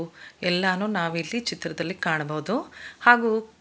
ಎಲ್ಲಾನು ನಾವಿಲ್ಲಿ ಚಿತ್ರದಲ್ಲಿ ಕಾಣಬಹುದು ಹಾಗು--